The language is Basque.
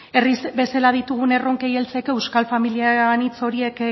herri bezala ditugun erronkei heltzeko euskal familia anitz horiek